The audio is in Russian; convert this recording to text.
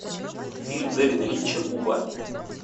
фильм дэвида линча буба